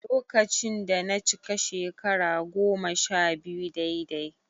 Lokacin da na cika shekara goma-sha-biyu daidai